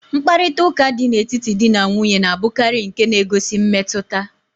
Mkparịtaụka dị n'etiti dị na nwunye na-abụkarị nke na-egosi mmetụta.